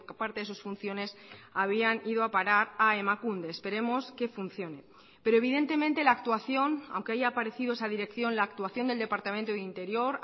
parte de sus funciones habían ido a parar a emakunde esperemos que funcione pero evidentemente la actuación aunque haya aparecido esa dirección la actuación del departamento de interior